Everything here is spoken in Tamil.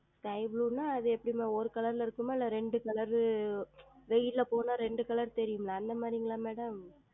Sky Blue என்றால் எப்படி அம்மா ஓர் Color ல் இருக்குமா இல்லை இரெண்டு Color வெயிலில் சென்றால் இரெண்டு Color தெரியும் அல்லவா அந்த மாதிரியா Madam